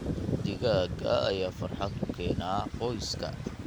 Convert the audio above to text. Digaagga ayaa farxad u keena qoyska.